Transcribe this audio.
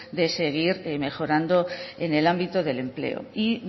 de seguir mejorando en el ámbito del empleo y